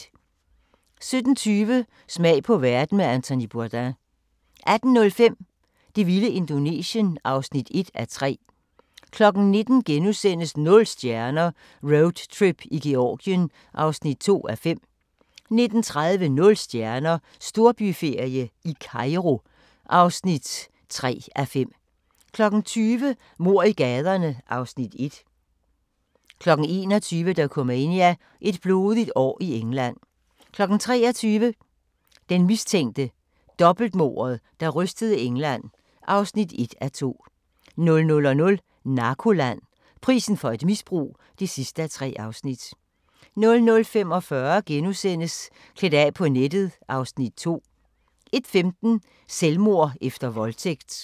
17:20: Smag på verden med Anthony Bourdain 18:05: Det vilde Indonesien (1:3) 19:00: Nul stjerner - Roadtrip i Georgien (2:5)* 19:30: Nul stjerner - Storbyferie i Kairo (3:5) 20:00: Mord i gaderne (Afs. 1) 21:00: Dokumania: Et blodigt år i England 23:00: Den mistænkte – dobbeltmordet, der rystede England (1:2) 00:00: Narkoland – Prisen for et misbrug (3:3) 00:45: Klædt af på nettet (Afs. 2)* 01:15: Selvmord efter voldtægt